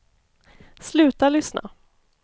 sluta lyssna